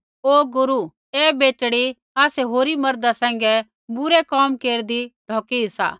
ओ गुरू ऐ बेटड़ी आसै होरी मर्दा सैंघै बुरै कोम केरदी ढौकी सा